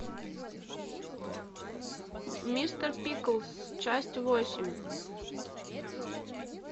мистер пиклз часть восемь